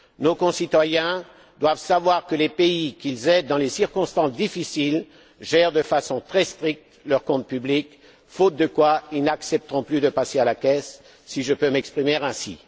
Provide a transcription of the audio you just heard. Nos concitoyens doivent savoir que les pays qu'ils aident dans des circonstances difficiles gèrent de façon très stricte leurs comptes publics, faute de quoi ils n'accepteront plus de passer à la caisse, si je peux m'exprimer ainsi.